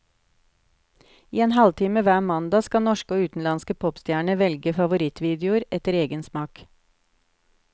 I en halvtime hver mandag skal norske og utenlandske popstjerner velge favorittvideoer etter egen smak.